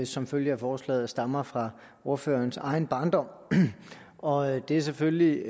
som følge af forslaget stammer fra ordførerens egen barndom og det er selvfølgelig